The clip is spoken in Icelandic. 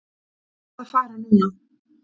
Ég verð að fara núna!